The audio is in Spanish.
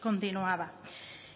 continuaba